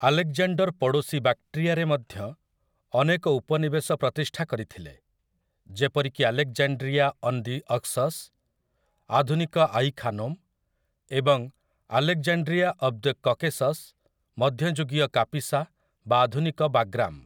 Alexander ପଡ଼ୋଶୀ ବାକ୍‌ଟ୍ରିଆରେ ମଧ୍ୟ ଅନେକ ଉପନିବେଶ ପ୍ରତିଷ୍ଠା କରିଥିଲେ, ଯେପରିକି ଆଲେକ୍‌ଜାଣ୍ଡ୍ରିଆ ଅନ୍ ଦି ଅକ୍ସସ୍, ଆଧୁନିକ 'ଆଇ ଖାନୋମ୍', ଏବଂ ଆଲେକ୍‌ଜାଣ୍ଡ୍ରିଆ ଅଫ୍ ଦି କକେସସ୍, ମଧ୍ୟଯୁଗୀୟ କାପିସା ବା ଆଧୁନିକ ବାଗ୍ରାମ୍ ।